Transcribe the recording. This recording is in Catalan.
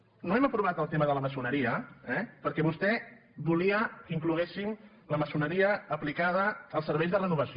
no hem aprovat el tema de la maçoneria eh perquè vostè volia que incloguéssim la maçoneria aplicada als serveis de renovació